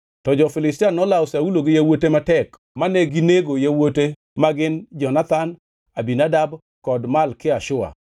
Jo-Filistia nolawo Saulo gi yawuote matek ma neginego yawuote magin Jonathan, Abinadab kod Malki-Shua.